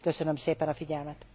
Köszönöm szépen a figyelmet.